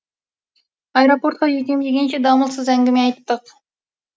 аэропортқа жетем дегенше дамылсыз әңгіме айттық